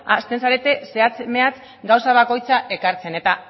hasten zarete zehatz mehatz gauza bakoitza ekartzen eta